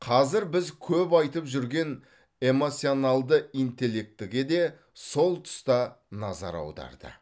қазір біз көп айтып жүрген эмоционалды интеллектіге де сол тұста назар аударды